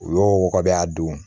U y'o wɔgɔbɔ a don